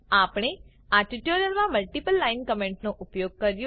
આપણે આ ટ્યુટોરીયલ માં મલ્ટીપલ લાઇન કમેન્ટ નો ઉપયોગ કર્યો